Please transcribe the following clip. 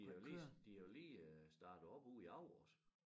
De er jo lige de er jo lige øh startet op ude i Agger også